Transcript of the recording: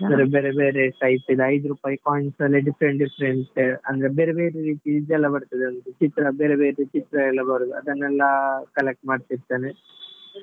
ಬೇರೆ ಬೇರೆ size ನ ಐದು ರುಪೈ coins ಅಲ್ಲಿ different different ಅಂದ್ರೆ ಬೇರೆ ಬೇರೆ ರೀತಿ ಇದೆಲ್ಲ ಬರ್ತದಲ್ಲ ಚಿತ್ರ ಬೇರೆ ಬೇರೆ ಚಿತ್ರ ಎಲ್ಲ ಬರುದು ಅದನ್ನೆಲ್ಲಾ collect ಮಾಡ್ತಿರ್ತೇನೆ .